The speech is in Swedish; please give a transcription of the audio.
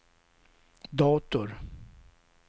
dator